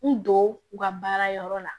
N don u ka baara yɔrɔ la